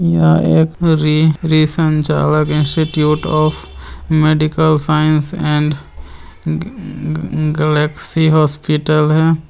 यहाँ एक री- institute of medical science and galaxy hospital है।